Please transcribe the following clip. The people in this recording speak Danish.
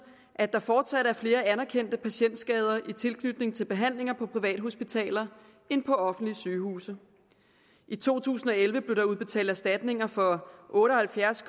at der fortsat er flere anerkendte patientskader i tilknytning til behandlinger på privathospitaler end på offentlige sygehuse i to tusind og elleve blev der udbetalt erstatninger for otte og halvfjerds